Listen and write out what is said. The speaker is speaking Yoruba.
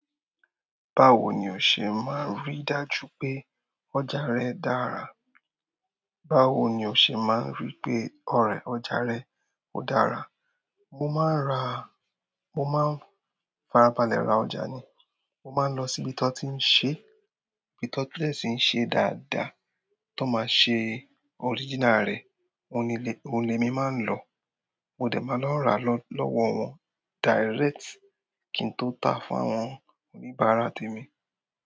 Báwo ni o ṣe máa ń rí dájú pé ọjà rẹ dára? Báwo ni o ṣe máa ń rí pé ọjà rẹ ò dára? Mo máa ń ra, mo máa ń farabalẹ̀ ra ọjà ni. Mo maa n lọ si ibi tọn tin ṣe. Wọn ṣi n ṣe dáadáa tó máa ṣe original rẹ̀, òn lé, on lémi máa ń lo. Mo dẹ̀ máa lọ n rà lọ́wọ́ direct kí n tó tà fún àwọn oníbàárà tèmi.